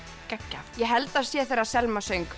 geggjað ég held að það sé þegar Selma söng